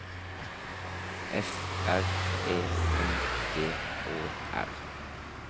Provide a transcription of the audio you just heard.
F R E M G Å R